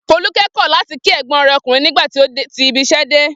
Folúkẹ́ kọ̀ láti kí ẹ̀gbọ́n rẹ̀ ọkùnrin nígbà tí ó ti ibiṣẹ́ dé.